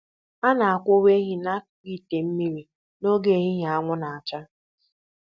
A na-akwụwa ehi n'akụkụ ite mmiri n'oge ehihie anwụ na-acha